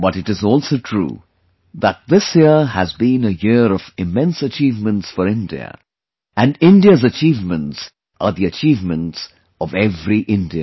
But it is also true that this year has been a year of immense achievements for India, and India's achievements are the achievements of every Indian